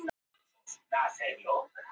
Erlutjörn